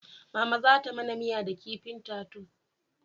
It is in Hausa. Mama za ta mana miya da kifin tatus